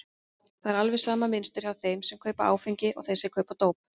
Það er alveg sama mynstur hjá þeim sem kaupa áfengi og þeim sem kaupa dóp.